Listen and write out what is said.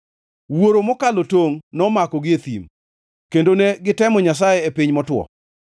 Wuoro mokalo tongʼ nomakogi e thim, kendo ne gitemo Nyasaye e piny motwo.